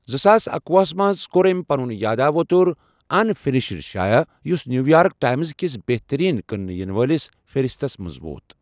زٕ ساس اکوُہس منٛز، کوٚر أمۍ پنُن یادٕووتر انفِنِشڑ شایع، یُس نیٛوٗیارٕک ٹایمز کِس بہتٔریٖن کٕنٛنہٕ یِنہٕ وٲلِس فہرسَتس منٛز ووت۔